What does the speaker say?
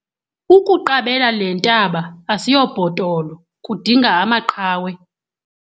Ukuqabela le ntaba asiyobhotolo kudinga amaqhawe.